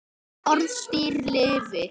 Orðstír lifir.